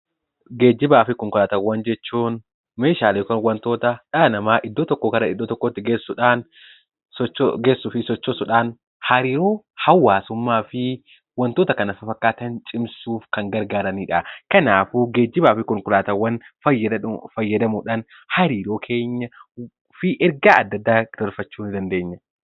Geejjibaa fi konkolaataawwan jechuun meeshaalee yookiin wantoota dhala namaa iddoo tokkoo gara iddoo biraatti geessuu fi sochoosuudhaan hariiroo hawaasummaa fi wantoota kana fakkaatan cimsuuf gargaaranidha. Kanaafuu geejjibaa fi konkolaataawwan fayyadamuudhaan hariiroo keenyaa fi ergaa adda addaa dabarfachuu ni dandeenya.